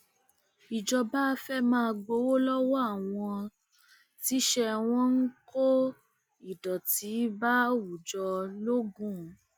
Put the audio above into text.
ìjọba fẹẹ máa gbowó lọwọ àwọn tíṣẹ wọn ń kó ìdọtí bá àwùjọ logun